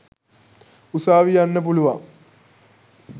උසාවි යන්න පුළුවන්.